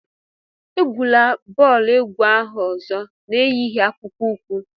Egwula bọọlụ ukwu ahụ ozo na-eyighị akpụkpọ ukwu!